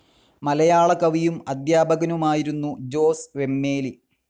മലയാള കവിയും അധ്യാപകനുമായിരുന്നു ജോസ് വെമ്മേലി.